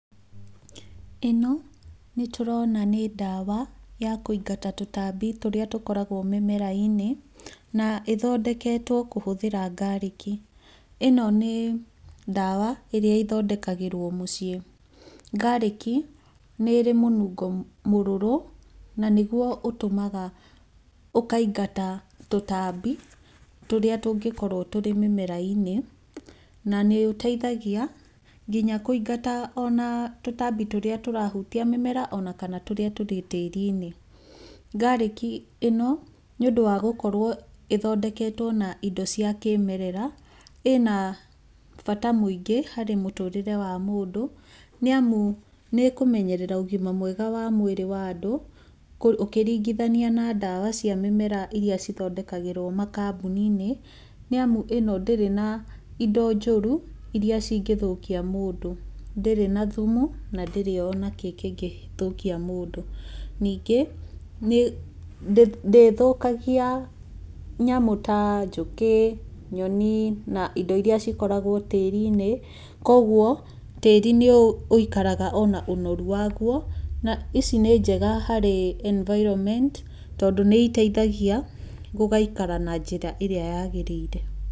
ĩno nĩ tũrona nĩ ndawa ya kũigata tũtambi tũrĩa tũkoragwo mĩmera-inĩ na ĩthondeketwo gũtũmĩra garlic. ĩno nĩ ndawa irĩa ĩthondekagĩrwo mũciĩ. Garlic nĩ ĩrĩ munungo mũrũrũ na nĩguo ũtũmaga ũkaingata tũtambi tũrĩa tũngĩkorwo tũrĩ mĩmera-inĩ, na nĩ ũteithagia nginya kũingata ona tũtambi tũrĩa tũrahutia mĩmera ona kana tũrĩa tũrĩ tĩĩri-inĩ Garlic ĩno nĩ ũndũ wa gũkorwo ĩthondeketwo na indo cia kĩĩmerera ĩna bata mũingĩ harĩ mũtũrĩre wa mũndũ nĩ amu nĩ ĩkũmenyerera ũgima mwega wa mwĩrĩ wa andũ. ũkĩringithania na ndawa cia mĩmera irĩa cithondekagĩrwo kambuni-inĩ. Nĩ amu ĩno ndĩrĩ na indo njũru irĩa cingĩthũkia mũndũ. Ndĩrĩ na thumu na ndĩrĩ ona kĩ kĩngĩthũkia mũndũ. Ningĩ ndĩthũkagia nyamũ ta njũkĩ, nyoni na indo irĩa cikoragwo tĩĩri-inĩ. Koguo tĩĩri nĩ ũikaraga ona ũnoru waguo na ici nĩ njega harĩ environment tondũ nĩ iteithagia gũgaikara na njĩra ĩrĩa yaagĩrĩire.